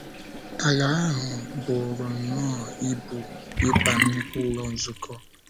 Ala ahụ buru nnọọ ibu ịba nnukwu Ụlọ Nzukọ.